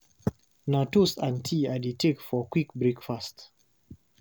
Na toast and tea I dey take for quick breakfast.